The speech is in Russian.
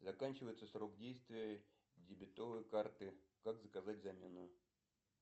заканчивается срок действия дебетовой карты как заказать замену